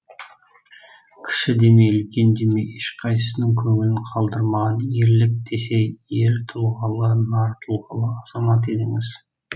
кіші демей үлкен демей ешқайсысының көңілін қалдырмаған ерлік десе ер тұлғалы нар тұлғалы азамат едіңіз